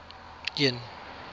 worn just prior